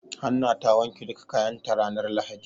Hanna ta wanke duka kayan ta ranar lahadi.